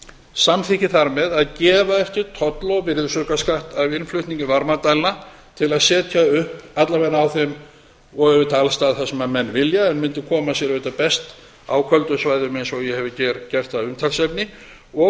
samþykki þar með að gefa eftir toll og virðisaukaskatt af innflutningi varmadælna til að setja upp alla vega á þeim og auðvitað alls staðar þar sem menn vilja en mundi koma sér auðvitað best á köldum svæðum eins og ég hef hér gert að umtalsefni og